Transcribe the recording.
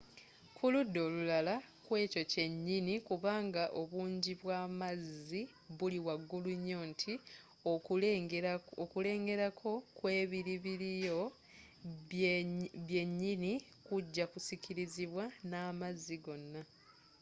kuludda olulala kyekyo kyenyinyi kubanga obungi bwamazzi buli waggulu nyo nti okulengera kwo okw'ebilibiliyiro byenyini kuja kusikirizibwa namazzi gonna